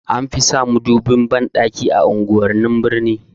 Anfi sa madubin banɗaki a unguwannin birni